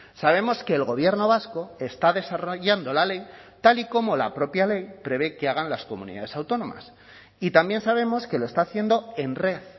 sabemos que el gobierno vasco está desarrollando la ley tal y como la propia ley prevé que hagan las comunidades autónomas y también sabemos que lo está haciendo en red